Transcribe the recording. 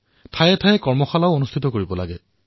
স্থানবিশেষে কৰ্মশালা প্ৰস্তুত কৰিব লাগে